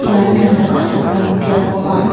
ian ranta ka·chakram biap ong·a.